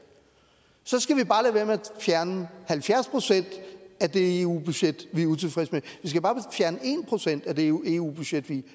fjerne halvfjerds procent af det eu budget vi er utilfredse med vi skal bare fjerne en procent af det eu eu budget vi